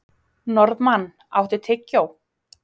Norðmann, áttu tyggjó?